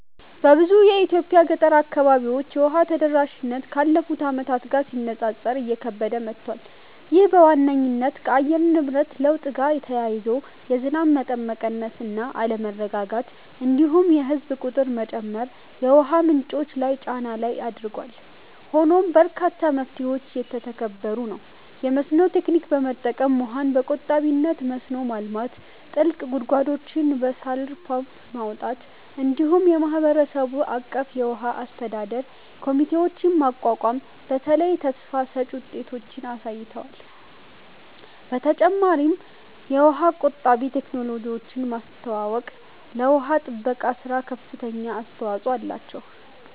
በብዙ የኢትዮጵያ ገጠር አካባቢዎች የውሃ ተደራሽነት ካለፉት ዓመታት ጋር ሲነጻጸር እየከበደ መጥቷል። ይህ በዋነኝነት ከአየር ንብረት ለውጥ ጋር ተያይዞ የዝናብ መጠን መቀነስ እና አለመረጋጋት፣ እንዲሁም የህዝብ ቁጥር መጨመር የውሃ ምንጮች ላይ ጫና ላይ አድርጓል። ሆኖም በርካታ መፍትሄዎች እየተተገበሩ ነው፤ የመስኖ ቴክኒክ በመጠቀም ውሃን በቆጣቢነት መስኖ ማልማት፣ ጥልቅ ጉድጓዶችን በሶላር ፓምፕ ማውጣት፣ እንዲሁም የማህበረሰብ አቀፍ የውሃ አስተዳደር ኮሚቴዎችን ማቋቋም በተለይ ተስፋ ሰጭ ውጤቶችን አሳይተዋል። በመጨረሻም የውሃ ቆጣቢ ቴክኖሎጂዎችን ማስተዋወቅ ለውሃ ጥበቃ ሥራ ከፍተኛ አስተዋጽኦ አላቸው።